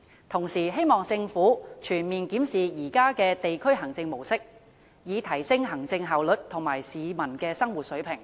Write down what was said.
同時希望政府全面檢視現有的地區行政模式，以提升行政效率和市民的生活水平。